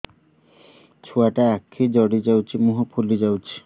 ଛୁଆଟା ଆଖି ଜଡ଼ି ଯାଉଛି ମୁହଁ ଫୁଲି ଯାଉଛି